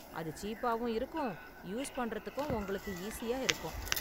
அது சீப்பாவும் இருக்கும், யூஸ் பண்றதுக்கும் உங்களுக்கு ஈஸியா இருக்கும்.